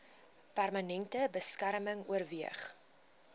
permanente beskerming oorweeg